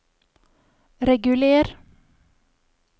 reguler